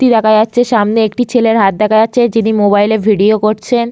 তি দেখা যাচ্ছে। সামনে একটি ছেলের হাত দেখা যাচ্ছে। যিনি মোবাইল এ ভিডিও করছেন।